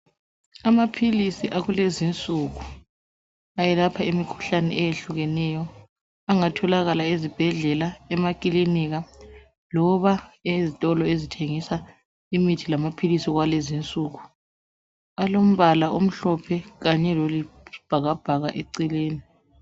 Amaphilisi akulezinsuku ayelapha imikhuhlane eyehlukeneyo engatholakala ezibhedlela, emakilinika loba ezitolo ezithengisa imithi amaphilisi kwalezinsuku, alombala omhlophe loyisibhakabhaka eceleni.